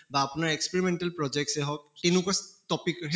বা আপোনাৰ experimental projects য়ে হওঁক topic